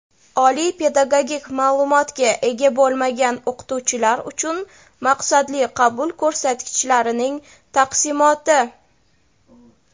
Oliy pedagogik ma’lumotga ega bo‘lmagan o‘qituvchilar uchun maqsadli qabul ko‘rsatkichlarining taqsimoti.